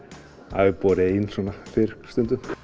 það hefur borið ein svona fyrr stundum